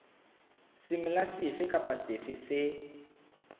semela sefe kapa sefe se